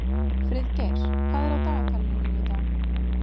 Friðgeir, hvað er á dagatalinu mínu í dag?